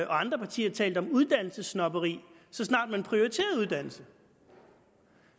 andre partier talt om uddannelsessnobberi så snart man prioriterede uddannelse